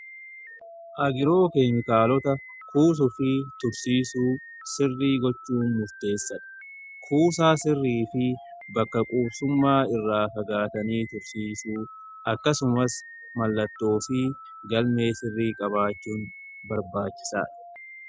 Agiroo keemikaalota kuusu fi tursiisuu sirrii gochuu murteessadha. Kuusaa sirrii fi bakka quusummaa irraa fagaatanii tursiisuu akkasumas mallattoo galmee sirrii qabaachuun barbaachisaadha.